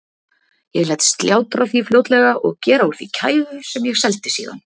Ég lét slátra því fljótlega og gera úr því kæfu sem ég seldi síðan.